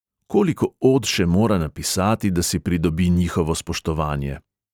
Koliko od še mora napisati, da si pridobi njihovo spoštovanje?